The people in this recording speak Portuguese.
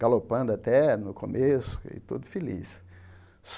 Galopando até, no começo, e todo feliz.